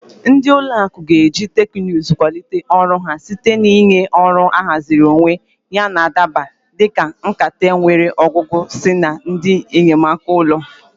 Ndị ụlọ akụ ga-eji teknụzụ kwalite ọrụ ha site na ịnye ọrụ ahaziri onwe yana adaba, dị ka nkata nkata nwere ọgụgụ isi na ndị enyemaka olu.